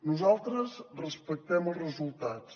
nosaltres respectem els resultats